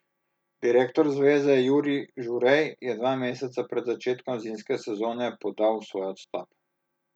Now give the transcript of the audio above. Direktor zveze Jurij Žurej je dva meseca pred začetkom zimske sezone podal svoj odstop.